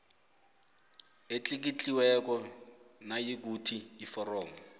etlikitliweko nayikuthi iforomo